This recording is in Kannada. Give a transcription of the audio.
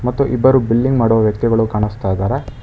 ಮತ್ತು ಇಬ್ಬರು ಬಿಲ್ಲಿಂಗ್ ಮಾಡುವ ವ್ಯಕ್ತಿಗಳು ಕಾಣಸ್ತಾ ಇದಾರೆ.